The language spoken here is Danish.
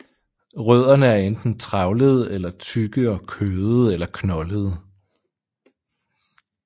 Rødderne er enten trævlede eller tykke og kødede eller knoldede